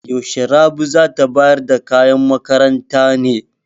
Yaushe Rabi za ta bayar da kayan makaranta ne?